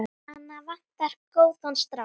Hana vantar góðan strák.